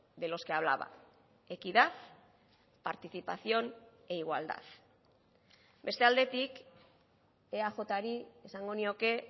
de los que hablaba equidad participación e igualdad beste aldetik eajri esango nioke